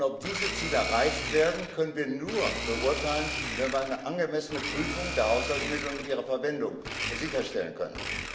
Ob diese Ziele erreicht werden, können wir nur beurteilen, wenn wir eine angemessene Prüfung der Haushaltsmittel und ihrer Verwendung sicherstellen können.